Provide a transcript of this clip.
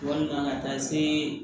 Walima ka taa se